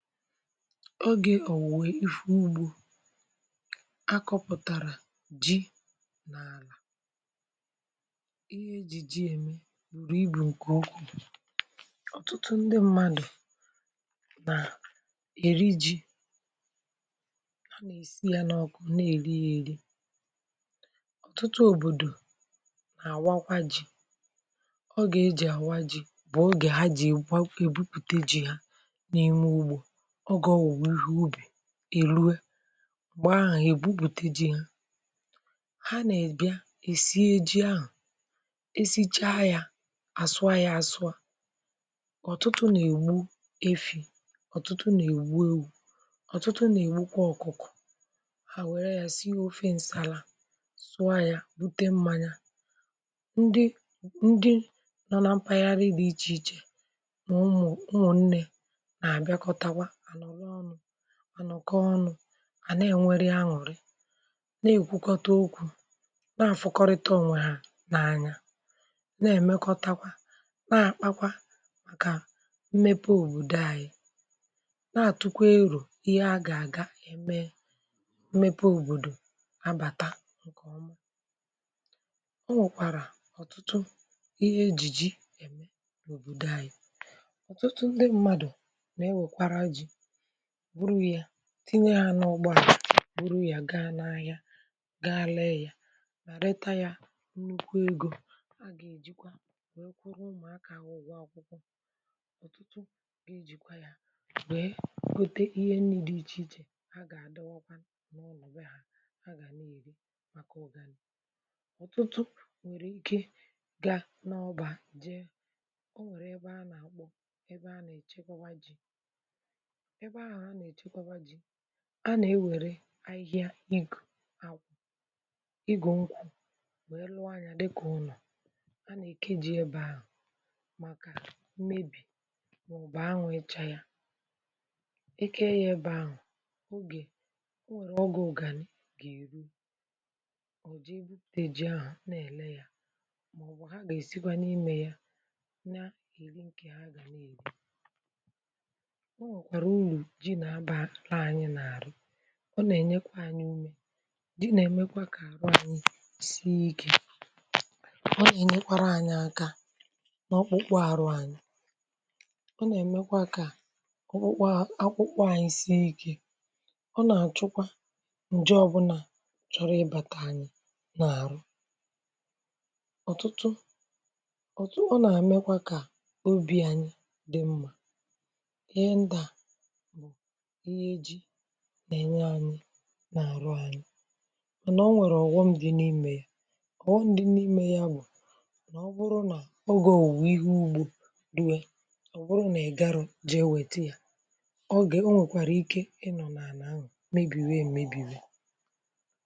Ọgė ọ̀wùwe ifụ ụgbȯ. Akọ̇pụ̀tara jii ǹ’ala. Ihe ejì jii eme bùrù ibù ǹke ụkwụụ. Ọtụtụ ndị mmadụ̀ na eri ji̇i, ha na-esi ya n’ọkụ na-eri ya eri. Ọ̀tụtụ ọ̀bọ̀dọ̀ na-awakwa ji̇i, Ọge ejì awa ji̇i bụ̀ ọge ha jì gwa e ebụpùte jii ha n’ime ụgbȯ ọ̀ge ọ̀wùwe ihe ụbì erụe mgbe ahụ̀ egwụpùte jii ha. Ha na ebịa esie ji ahụ̀ esi chaa ya asụọ ya asụ a. Ọ̀tụtụ na egbụ efì, ọ̀tụtụ na egbụ ewụ, ọ̀tụtụ na egbụ kwa ọ̀kụ̀kụ̀, ha were ya sie ọfe nsala sụọ ya rụte mmanya ndị ndị nọ na mpaghari di iche iche, ma ụmụ̀ ụmụ̀ nnė na abiakotawa anọlọ ọnụ, anọkọ ọnụ a na-enweri anwụ̀rị na-ekwụkọta ọkwụ na-afụkọrịta ọnwe ha n’anya na-emekọtakwa na-akpakwa maka mmepe ọ̀bọ̀dọ ayị na-atụkwa erọ̀ ihe a ga-aga eme mmepe ọ̀bọ̀dọ̀ na-abata ǹkeọma. Ọ nwekwara ọ̀tụtụ ihe ejì jìi eme na ọ̀bọ̀dọ ayị. Ọ̀tụtụ ndị mmadụ̀ na ewekwara jii bụrụ ya tinye ya n’ụgbọ ha bụrụ ya gaa n’ahịa gaa lee ya ma reta ya nnụkwụ egȯ a ga-ejikwa wee kwụọrọ ụmụ̀ aka ha ụgwọ akwụkwọ. Ọ̀tụtụ ga ejìkwa ya wee gọte ihe ni̇ine dị iche iche ha ga-adọwọkwa na uno bee ha, ha ga-ana eri maka ụ̀ganị̀. Ọtụtụ nwere ike ga n’ọba jee, ọ nwere ebe a na-akpọ, ebe ha na-echekwa jì, ebe ahụ ha na-echekwa jì a na-ewere ahịhịa igù akwụ igù nkwụ wee lụọ nya dịka ụnọ̀. A na-eke jii ebe ahụ̀ maka mmebì maọ̀bụ̀ anwụ̀ icha ya. Eke ya ebe ahụ̀ ọge ọ nwere ọge ụgani ga-erụ ọ̀ jee bụpụte ji ahụ̀ na-ele ya maọ̀bụ̀ ha ga-esikwa n’imė ya na eri ǹke ha ga na-eri. Ọ nwèkwàrà ụrụ jii na abalu anyi na ala. Ọ na-enyekwa anyị ụmė jii na-emekwa ka arụ anyị sie oke. Ọ na-enyekwara anyị aka n’ọkpụkpụ arụ anyị. Ọ na-ọ̀wọm dị n’imė ka ọkpụkpọ akwụkpọ anyị sie ike. Ọ na-achụkwa ǹje ọbụla chọrọ ịbata anyị n’arụ. Ọ̀tụtụ ọtụ... ọ na-amekwa ka ọbi̇ anyị dị mma, ihe ndia bụ ihe jii na-enye anyị na-arụ anyị mana ọ nwere ọ̀wọm dị n’imė, ọ̀wọm dị n’imė ya. Ọwom m dị n’imė ya bụ̀ na ọ bụrụ na ọ ga-ọ̀wuwe ihe ụgbȯ rụwe ọ bụrụ na ị̀ garọ jee wete ya ọ ga-enwekwara ike ịnọ̀ n’ana ah mebiwe mebi̇we